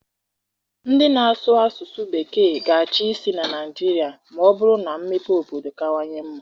Ndị na-asụ asụsụ Bekee ga-achị isi na Naịjirịa ma ọ bụrụ na mmepe obodo kawanye mma.